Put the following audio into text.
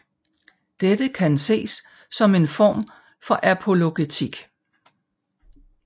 Dette kan ses som en form for apologetik